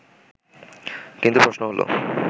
কিন্তু প্রশ্ন হলো